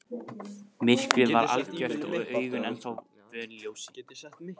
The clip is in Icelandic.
Myrkrið var algjört og augun ennþá vön ljósinu.